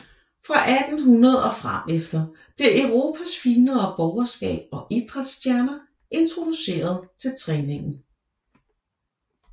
Fra 1800 og frem efter bliver Europas finere borgerskab og idræts stjerner introduceret for træningen